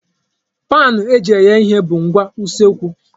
Paanụ eji eghe ihe bụ ngwa usekwu.